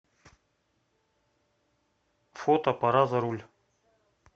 фото пора за руль